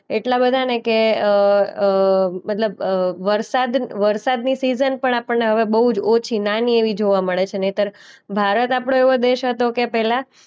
એટલા બધા ને કે અ અ મતલબ અ વરસાદ વરસાદની સીઝન પણ આપણને હવે બોઉ જ ઓછી નાની એવી જોવા મળે છે નહીંતર ભારત આપનો એવો દેશ હતો કે પહેલા